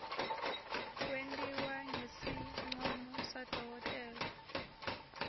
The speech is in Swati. kwentiwa ngesincomo sadokotela